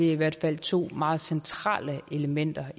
i hvert fald to meget centrale elementer